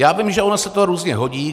Já vím, že ono se to různě hodí.